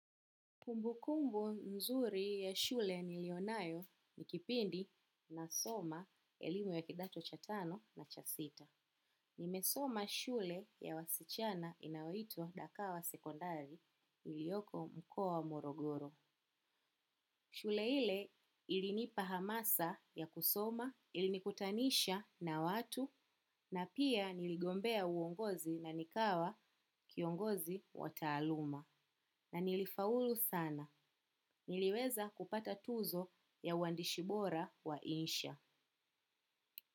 Kumbu kumbu mzuri ya shule nilionayo nikipindi nasoma elimu ya kidato cha tano na cha sita. Nimesoma shule ya wasichana inayoitwa dakawa sekondari ilioko mkoa wa morogoro. Shule ile ilinipahamasa ya kusoma, ilinikutanisha na watu, na pia niligombea uongozi na nikawa kiongozi wa taaluma. Na nilifaulu sana. Niliweza kupata tuzo ya uwandishi bora wa insha.